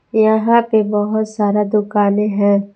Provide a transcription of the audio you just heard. यहां पे बहुत सारा दुकानें हैं।